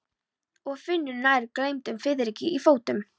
Og finnur fyrir nær gleymdum fiðringi í fótum.